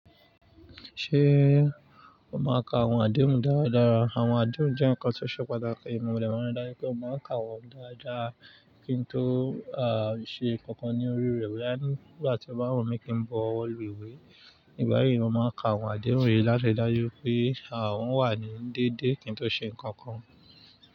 Ṣé o máa ka àwọn àdéhùn dáradára? Àwọn àdéhùn jẹ́ ǹkan tó ṣe pàtàkì. Mo mọ̀ lẹ́wọ̀n dáyé pé o máa ka wọ́n dáadáa kí n tó à ṣe nǹkan kan ní orí rẹ̀ wáyé. Nigbati o bá wù mí kí n bọ́ wọ̀lú ìwé, ìgbà yíì o máa ka àwọn àdéhùn yìí láti dáyé pé à ń wà ní déédé kí n tó ṣe ǹkan kan.